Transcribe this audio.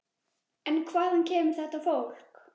En hvaðan kemur þetta fólk?